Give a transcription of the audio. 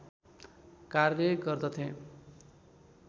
कार्य गर्दथे